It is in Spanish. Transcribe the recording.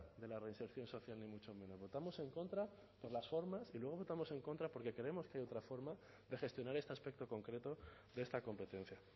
de la reinserción social ni mucho menos votamos en contra por las formas y luego votamos en contra porque creemos que hay otra forma de gestionar este aspecto concreto de esta competencia